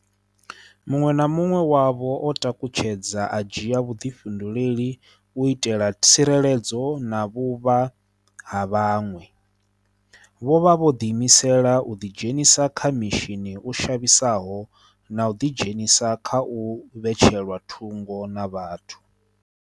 Muṅwe na muṅwe wavho o takutshedza u dzhia vhuḓi-fhinduleli u itela tsireledzo na vhuvha ha vhaṅwe. Vho vha vho ḓiimisela u ḓidzhenisa kha mishini u shavhisaho na u ḓidzhenisa kha u vhetshelwa thungo na vhathu.